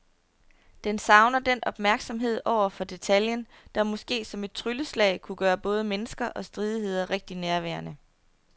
Den savner den opmærksomhed over for detaljen, der måske som et trylleslag kunne gøre både mennesker og stridigheder rigtig nærværende.